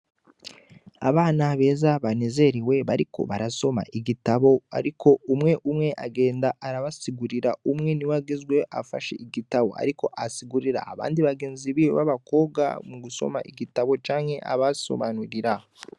Abana beza banezerewe bariko barasoma igitabo ariko umwe umwe agenda arabasigurira umwe niwe agezweho afashe igitabu ariko asigurira abandi bagenzi biwe babakobwa mu gusoma igitabu canke abasobanurira.